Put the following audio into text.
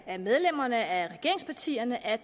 af medlemmerne af regeringspartierne at